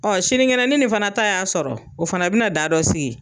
Ɔn sinikɛnɛ ni nin fana ta y'a sɔrɔ , o fana be na da dɔ sigi.